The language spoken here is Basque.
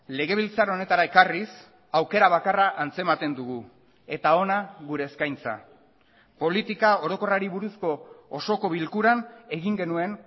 legebiltzar honetara ekarriz aukera bakarra antzematen dugu eta hona gure eskaintza politika orokorrari buruzko osoko bilkuran egin genuen